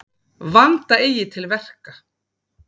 Vanda eigi til verka.